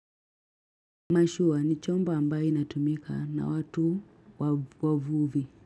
Mashua ni chombo ambayo inatumika na watu wavuvi.